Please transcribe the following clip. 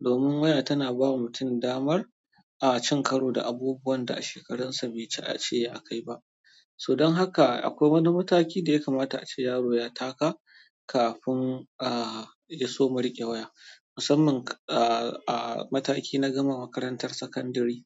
domin waya tana bawa mutum damar cin karo da abubuwan da a shekarunsa bai cace a kai ba. So dan haka akwai wani mataki da ya kamata ace yaro ya taka kafin ya soma riƙe waya. Musamman a mataki na gama makarantar sakandire.